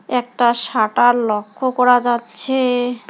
একটা শাটার লক্ষ্য করা যাচ্ছে।